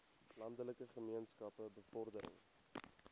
landelike gemeenskappe bevordering